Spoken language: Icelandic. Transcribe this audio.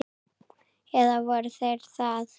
Eða voru þeir það?